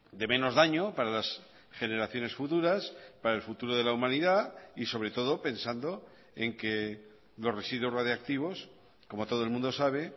de menos daño para las generaciones futuras para el futuro de la humanidad y sobre todo pensando en que los residuos radiactivos como todo el mundo sabe